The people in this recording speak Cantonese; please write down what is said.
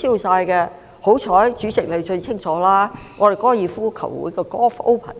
幸好，主席知得最清楚，我們高爾夫球會的 Golf Open